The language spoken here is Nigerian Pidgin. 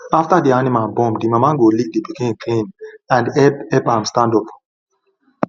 after the animal born the mama go lick the pikin clean and help help am stand up